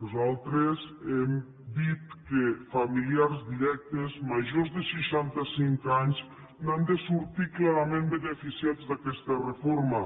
nosaltres hem dit que familiars directes majors de seixantacinc anys n’han de sortir clarament beneficiats d’aquesta reforma